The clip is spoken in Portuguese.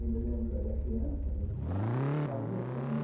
Eu me lembro, era criança, mas ficava invejando ele.